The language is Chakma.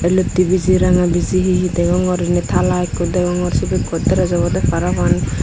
olotte biji ranga biji he he degongor endi tala ikko degongor cibi godres obode parapang.